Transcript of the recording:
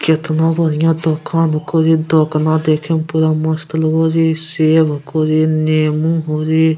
केतना बढ़िया दोकान हको रे दोकाना देखे म पूरा मस्त लगो रे सेब हको रे नेमू हो रे।